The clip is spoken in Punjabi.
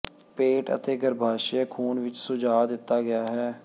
ਪੇਟ ਅਤੇ ਗਰੱਭਾਸ਼ਯ ਖ਼ੂਨ ਵਿਚ ਸੁਝਾਅ ਦਿੱਤਾ ਗਿਆ ਹੈ